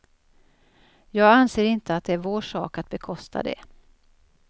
Jag anser inte att det är vår sak att bekosta det.